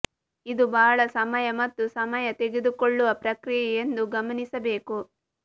ಇದು ಬಹಳ ಸಮಯ ಮತ್ತು ಸಮಯ ತೆಗೆದುಕೊಳ್ಳುವ ಪ್ರಕ್ರಿಯೆ ಎಂದು ಗಮನಿಸಬೇಕು